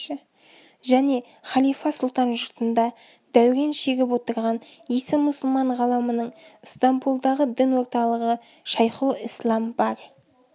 және халифа сұлтан жұртында дәурен шегіп отырған исі мұсылман ғаламының ыстамполдағы дін орталығы шайхұлісләм бар